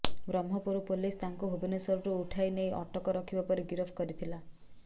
Brahmapur police ତାଙ୍କୁ ଭୁବନେଶ୍ୱରରୁ ଉଠାଇ ନେଇ ଅଟକ ରଖିବା ପରେ ଗିରଫ କରିଥିଲା